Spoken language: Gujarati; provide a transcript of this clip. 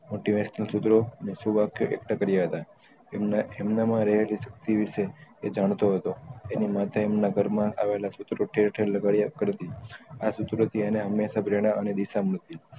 motivational સુત્ર અને શું વાક્ય એકતા કર્યા હતા એમના એમને માં રહેલી શક્તિ વિષે એ જાણતો થો એની માથે એના ઘરમાં આવેલા સુત્રો તેહ તેહ કરી આ સુત્રો થી એને અને દિશા મળતી